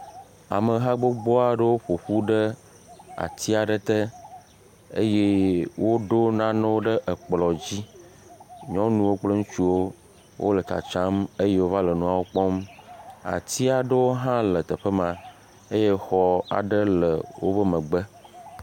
Ameha gbogbo aɖewo ƒoƒu ɖe ati aɖe te eye woɖo nanewo ɖe ekplɔ dzi, nyɔnuwo kple ŋutsuwo wole tsatsam eye wova le nuawo kpɔm, atiaɖewo hã le teƒe ma eye exɔ aɖewo hã le woƒe megbe.